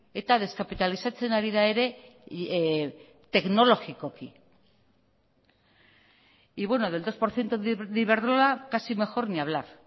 eta deskapitalizatzen ari da ere teknologikoki y bueno del dos por ciento de iberdrola casi mejor ni hablar